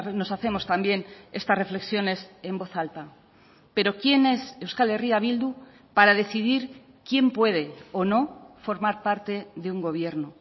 nos hacemos también estas reflexiones en voz alta pero quién es euskal herria bildu para decidir quién puede o no formar parte de un gobierno